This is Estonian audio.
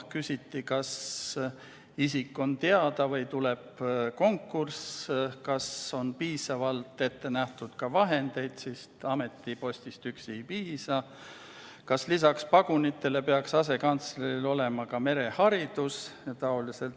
Küsiti, kas see isik on teada või tuleb konkurss, kas on piisavalt ette nähtud ka vajalikke vahendeid, sest ametipostist üksi ei piisa, kas lisaks pagunitele peaks asekantsleril olema ka mereharidus.